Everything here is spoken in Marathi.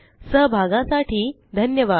सहभागासाठी धन्यवाद